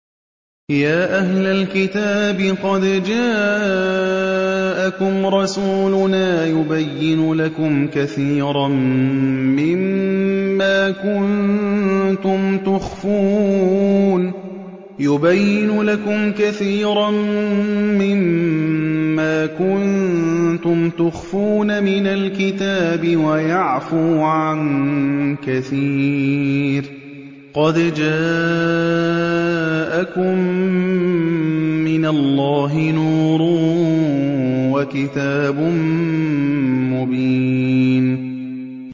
يَا أَهْلَ الْكِتَابِ قَدْ جَاءَكُمْ رَسُولُنَا يُبَيِّنُ لَكُمْ كَثِيرًا مِّمَّا كُنتُمْ تُخْفُونَ مِنَ الْكِتَابِ وَيَعْفُو عَن كَثِيرٍ ۚ قَدْ جَاءَكُم مِّنَ اللَّهِ نُورٌ وَكِتَابٌ مُّبِينٌ